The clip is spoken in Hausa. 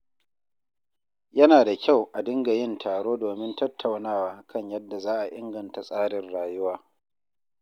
Yana da kyau a dinga yin taro domin tattaunawa kan yadda za a inganta tsarin ayyuka.